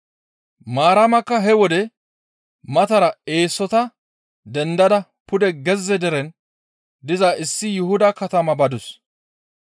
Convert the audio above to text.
Maaramakka he wode matara eesota dendada pude gezze deren diza issi Yuhuda katama badus.